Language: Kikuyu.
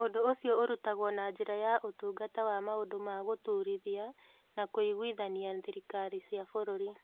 Ũndũ ũcio ũrutagwo na njĩra yaŨtungata wa Maũndũ ma Gũtũũrithia na Kũiguithania Thirikari cia Bũrũri.